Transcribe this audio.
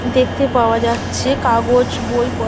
দেখতে পাওয়া যাচ্ছে কাগজ বই প --